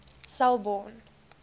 selborne